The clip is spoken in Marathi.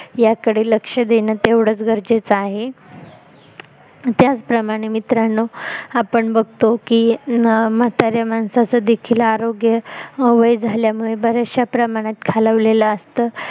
सगळी कडे लक्ष देणं तेवढच गरजेच आहे त्याचप्रमाणे मित्रांनो आपण बघतो की म्हाताऱ्या माणसाचं देखील आरोग्य वय झाल्यामुळे बऱ्याचश्या प्रमाणात खालवलेलं असत